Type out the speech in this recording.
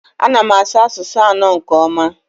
Ana m asụ asụsụ anọ nke ọma